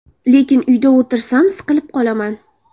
Lekin uyda o‘tirsam siqilib qolaman.